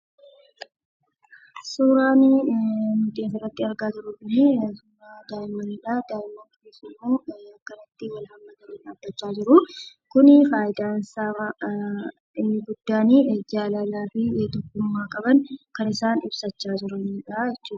Suuraan nuti asirratti argaa jirru kun suuraa daa'immnidha. daa'imman kunisimmoo akkamittin wal-hammatani dhabbachaa jiru' kun faayidaan isaa inni guddaan jaalala fi duudhumma qaban kan isaan ibsachaa jiranidha.